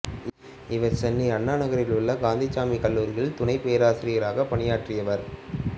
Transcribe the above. இவர் சென்னை அண்ணா நகரில் உள்ள கந்தசாமிக் கல்லூரியில் துணைப் பேராசிரியராக பணியாற்றியவர்